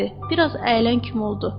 Bir az əyilən kimi oldu.